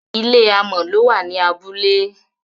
ilé amò ló wà ní abúlé